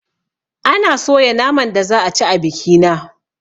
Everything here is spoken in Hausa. Ana soya naman da za a ci a bikina